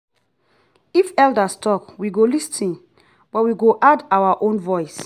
if elders talk we go lis ten but we go add our own voice.